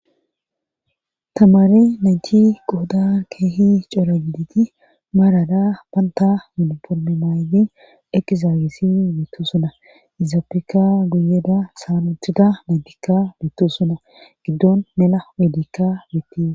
tamare nayti qohodan keehi cora diti maarada baanta miniforme maaydin ekizaagisi beettu suna izaafeka guyeda saanuthida naytikka beettu suna giddon mela wedikka betti ha